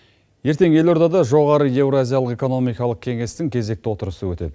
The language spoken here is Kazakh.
ертең елордада жоғары еуразиялық экономикалық кеңестің кезекті отырысы өтеді